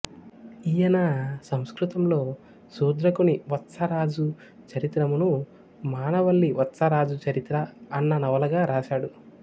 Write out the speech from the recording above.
ఈయన సంస్కృతంలో శూద్రకుని వత్సరాజు చరిత్రమ్ను మానవల్లి వత్సరాజు చరిత్ర అన్న నవలగా వ్రాశాడు